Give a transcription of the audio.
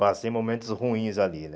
Passei momentos ruins ali, né?